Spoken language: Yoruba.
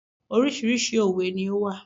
Oríṣiríṣi òwe ni ó wà.